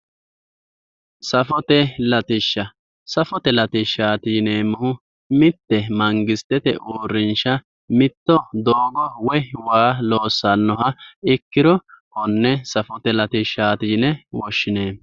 Safote latishsha, safote latishsha yineemmohu mitte mangisitete uurrinsha mitto doogo woy waa loossannoha ikkiro konne safote latishshaati yine woshshineemmo.